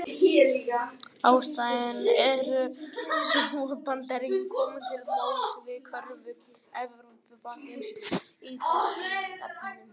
Ástæðan er sú að Bandaríkin komu til móts við kröfur Evrópusambandsins í þessum efnum.